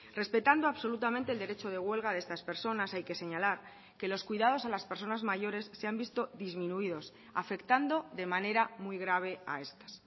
respetando absolutamente el derecho de huelga de estas personas hay que señalar que los cuidados a las personas mayores se han visto disminuidos afectando de manera muy grave a estas